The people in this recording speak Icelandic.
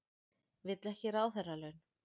Vill ekki ráðherralaun